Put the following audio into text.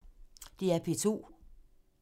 DR P2